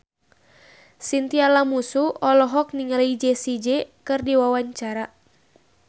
Chintya Lamusu olohok ningali Jessie J keur diwawancara